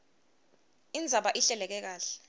indzaba ihleleke kahle